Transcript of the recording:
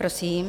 Prosím.